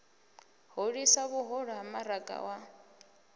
hulisa vhuhulu ha maraga wa